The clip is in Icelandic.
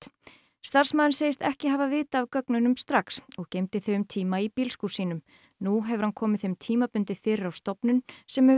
starfsmaðurinn segist ekki hafa vitað af gögnunum strax og geymdi þau um tíma í bílskúr sínum nú hefur hann komið þeim tímabundið fyrir á stofnun sem hefur